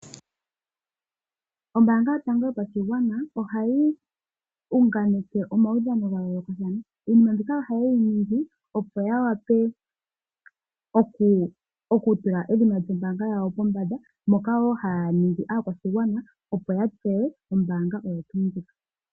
Ombaanga yotango yopashigwana ohayi unganeke omaudhano ga yooloka, iinima mbika oha yeyi ningi opo ya wape okutula edhina lyombaanga yawo pombanda moka wo haya ningi aakwashigwana opo ya tseye ombaanga oyo tuu ndjika.